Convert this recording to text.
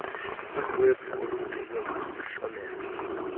uxwebhu olugcinwe kwisihlomelo